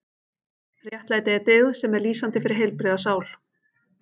Réttlæti er dyggð sem er lýsandi fyrir heilbrigða sál.